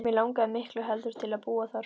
Mig langaði miklu heldur til að búa þar.